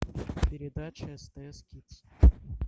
передача стс кидс